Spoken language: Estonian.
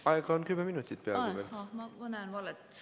Aega on veel peaaegu kümme minutit.